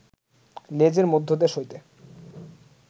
লেজের মধ্যদেশ হইতে